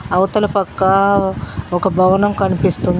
అవతల పక్కా ఒక భవనం కనిపిస్తుంది.